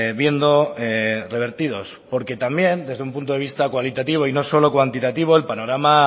viendo revertidos porque también desde un punto de vista cualitativo y no solo cuantitativo el panorama